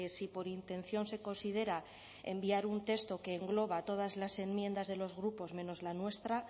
si por intención se considera enviar un texto que engloba todas las enmiendas de los grupos menos la nuestra